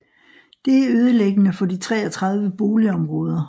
Det er ødelæggende for de 33 boligområder